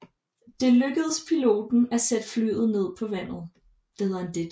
Det lykkedes piloten at sætte flyet ned på vandet